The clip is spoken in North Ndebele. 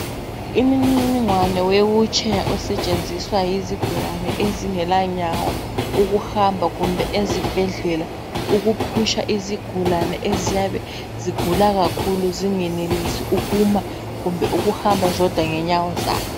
Imininingwana wewilitsheya osetshenziswa yizigulane ezingelanyawo ukuhamba kumbe ezibhedlela ukuphusha izigulane eziyabe zigula kakhulu zingenelisi ukuma kumbe ukuhamba ngenyawo zazo.